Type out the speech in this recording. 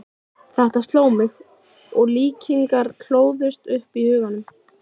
Þetta sló mig, og líkingar hlóðust upp í huganum.